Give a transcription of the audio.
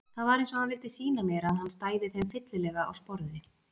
Það var eins og hann vildi sýna mér að hann stæði þeim fyllilega á sporði.